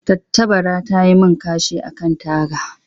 Tattabara ta yi min kashi a kan taga.